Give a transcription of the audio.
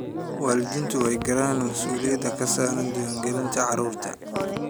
Waalidiintu way garanayaan mas'uuliyadda ka saaran diiwaangelinta carruurta.